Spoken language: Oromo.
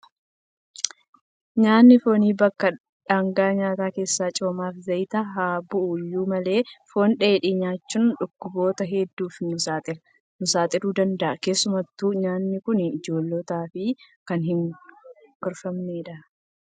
Nyaatni foonii bakka dhaangaa nyaataa keessaa coomaa fi zayita haa bu'u iyyuu malee, foon dheedhii nyaachuun dhukkuboota hedduuf nu saaxiluu ni danda'a. Keessumattuu nyaatni kun ijoollotaaf kan hin gorfamne dha.